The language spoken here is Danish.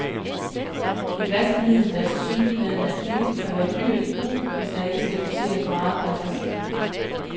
Et vaskemiddel, der tilsyneladende er billigt, kan være dyrt i brug, hvis der skal doseres meget per vask.